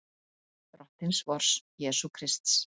Drottins vors Jesú Krists.